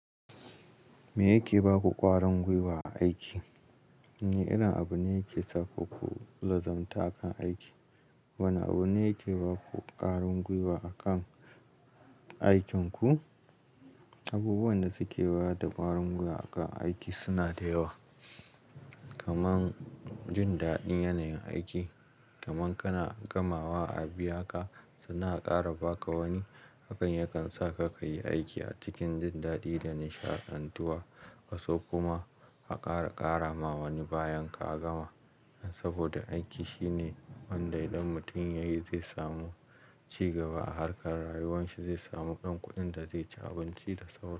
Me yake baku ƙwarin gwiwa a aiki? Wane irin abu ne yake saku ku lazimtu akan aiki? Wani abu ne yake baku ƙwarin gwiwa akan aikinku? Abubuwan da suke bada ƙwarin gwiwa akan aiki suna da yawa, kamar jin daɗin yanayin aiki, kamar kana gamawa, a biyaka sannan a ƙara baka wani. Hakan yakan sa ka kayi aiki a cikin jin daɗi da nishaɗantuwa, ka so kuma a ƙara kara ma wani bayan ka gama. Saboda aiki shine wanda idan mutum yayi zai samu cigaba a harkar rayuwan shi, zai samu ɗan kuɗin da zai ci abinci da sauran su.